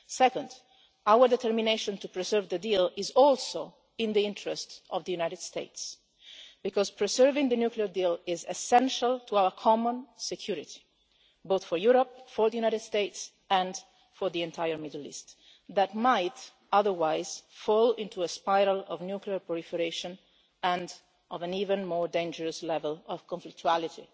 Second, our determination to preserve the deal is also in the interests of the United States, because preserving the nuclear deal is essential to our common security, both for Europe, for the United States and for the entire Middle East, which might otherwise fall into a spiral of nuclear proliferation and of an even more dangerous level of conflictuality.